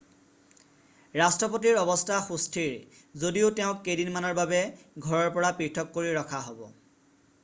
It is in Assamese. ৰাষ্ট্ৰপতিৰ অৱস্থা সুস্থিৰ যদিও তেওঁক কেইদিনমানৰ বাবে ঘৰৰ পৰা পৃথক কৰি ৰখা হব